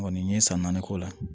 Kɔni n ye san naani k'o la